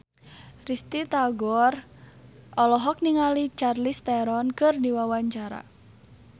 Risty Tagor olohok ningali Charlize Theron keur diwawancara